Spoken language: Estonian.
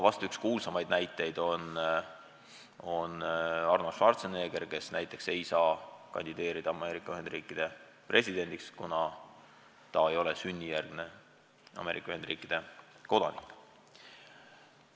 Vahest üks kuulsaimaid näiteid on Arnold Schwarzenegger, kes ei saa kandideerida Ameerika Ühendriikide presidendiks, kuna ta ei ole sünnijärgne Ameerika Ühendriikide kodanik.